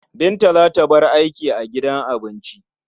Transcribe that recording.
Binta za ta bar aiki a gidan abinci.